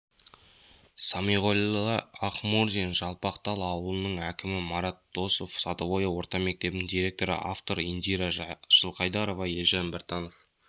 самиғолла ақмурзин жалпақтал ауылының әкімі марат досов садовое орта мектебінің директоры автор индира жылқайдарова елжан біртанов